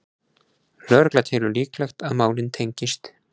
Lögregla telur líklegt að málin tengist